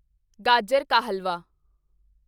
ਗਾਜਰ ਕਾ ਹਲਵਾ